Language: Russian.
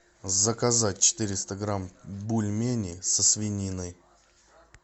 заказать четыреста грамм бульменей со свининой